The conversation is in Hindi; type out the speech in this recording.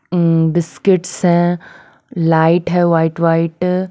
हम बिस्किट्स हैं लाइट है वाइट-वाइट --